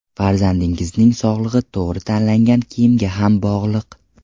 Farzandingizning sog‘lig‘i to‘g‘ri tanlangan kiyimga ham bog‘liq.